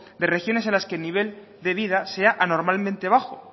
de regiones que el nivel de vida sea anormalmente bajo